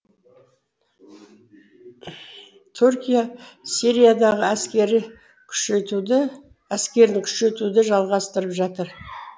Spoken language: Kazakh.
түркия сириядағы күшейтуді әскерін күшейтуді жалғастырып жатыр